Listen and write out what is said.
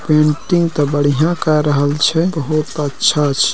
Painting तो बढ़िया कर रहल छे बहुत बढ़िया छे।